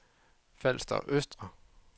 Falster Østre